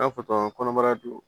N'a fɔtɔ tɔgɔ kɔnɔbara don